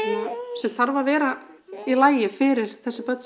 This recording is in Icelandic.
sem þarf að vera í lagi fyrir þessi börn